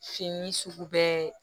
Fini sugu bɛɛ